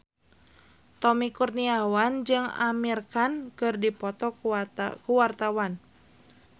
Tommy Kurniawan jeung Amir Khan keur dipoto ku wartawan